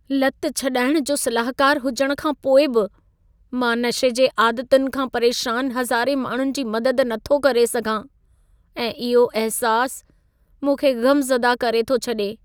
लत छॾाइण जो सलाहकारु हुजण खां पोइ बि, मां नशे जे आदतुनि खां परेशान हज़ारें माण्हुनि जी मदद नथो करे सघां ऐं इहो अहिसास मूंखे ग़मज़दा करे थो छडे॒।